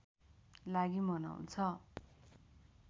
लागि मनाउँछ